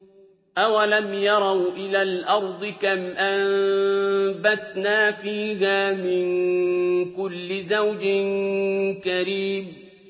أَوَلَمْ يَرَوْا إِلَى الْأَرْضِ كَمْ أَنبَتْنَا فِيهَا مِن كُلِّ زَوْجٍ كَرِيمٍ